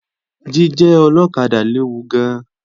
Jíjẹ́ ọlọ́kadà léwu gan-an